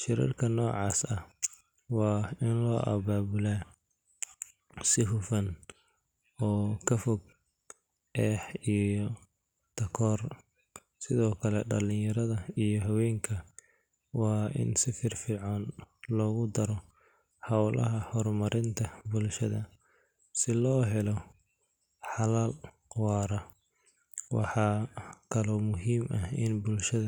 Shirarka noocaas ah waa in loo abaabulaa si hufan oo ka fog eex iyo takoor. Sidoo kale, dhalinyarada iyo haweenka waa in si firfircoon loogu daro hawlaha horumarinta bulshada, si loo helo xalal waara. Waxaa kaloo muhiim ah in bulshada.